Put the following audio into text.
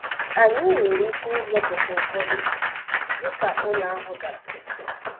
Anyị nwere ike ịzọpụta ụfọdụ ndị ka ụlọ ahụ dara.